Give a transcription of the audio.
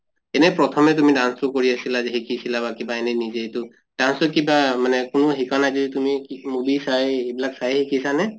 এনে প্ৰথমে তুমি dance তো কৰি আছিলে শিকিছিলা বা কিবা এনে নিজে তো dance তো কিবা মানে কোনো শিকোৱা নাই যদি তুমি movie চাই এইবিলাক চাইয়ে শিকিছা নে?